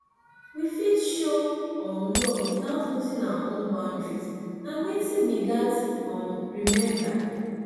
we fit show um love without losing our own boundaries na wetin we gats um remember